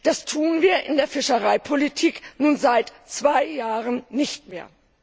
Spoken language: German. Das tun wir in der Fischereipolitik nun seit zwei Jahren nicht mehr.